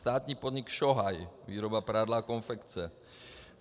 Státní podnik Šohaj, výroba prádla a konfekce.